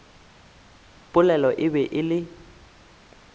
polelo e be e le